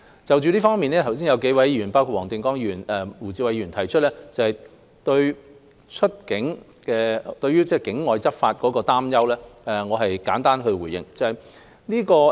就這方面，剛才有數位議員，包括黃定光議員及胡志偉議員，提出對境外執法的擔憂，讓我簡單回應。